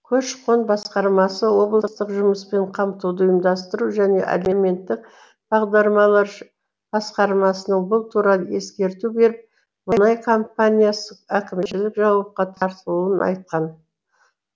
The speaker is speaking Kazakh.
көші қон басқармасы облыстық жұмыспен қамтуды ұйымдастыру және әлеуметтік бағдарлар басқармасына бұл туралы ескерту беріп мұнай компаниясы әкімшілік жауапқа тартылуын айтқан